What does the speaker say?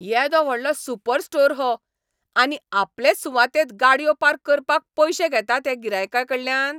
येदो व्हडलो super store हो, आनी आपलेच सुवातेंत गाडयो पार्क करपाक पयशे घेतात हे गिरायकांकडल्यान?